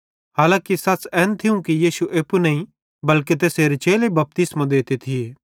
हालांकी सच़ एन थियूं यीशु एप्पू नईं बल्के तैसेरे चेले बपतिस्मो देते थिये